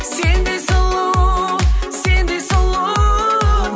сендей сұлу сендей сұлу